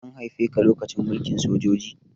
An haife ka lokacin mulkin sojoji?